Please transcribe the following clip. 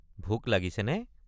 ভোক লাগিছেনে?